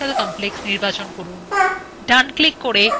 এর পরে ডানclick করুন ও cut নির্বাচন করুন